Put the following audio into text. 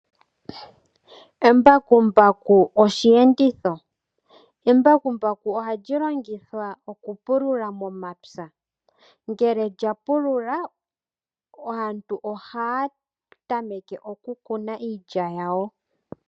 Embakumbaku osheenditho Embakumbaku ohali longithwa okupulula momapya. Ngele lya pulula, aantu ohaya tameke okukuna iilya yawo.